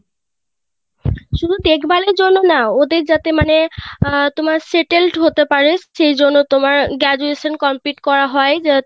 শুধু দেখভালের জন্যই না ওদের যাতে মানে আহ settled হতে পারে সেই জন্য তোমার Graduation complete করা হয়